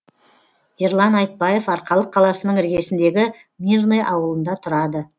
ерлан айтбаев арқалық қаласының іргесіндегі мирный ауылында тұрады